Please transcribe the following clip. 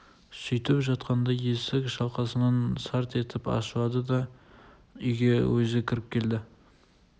сөйтіп жатқанда есік шалқасынан сарт етіп ашылды да үйге өзі кіріп келді